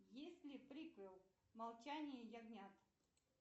есть ли приквел молчание ягнят